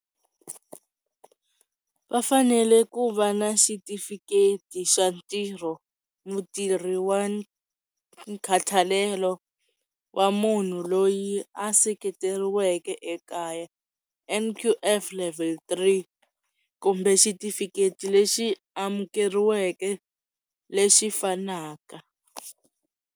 Va fanele ku va na xitifiketi xa ntirho, mutirhi wa nkhathalelo wa munhu loyi a seketeriweke ekaya N_Q_F level three kumbe xitifiketi lexi amukeriweke lexi fanaka.